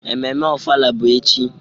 Ememme ofala bụ echi.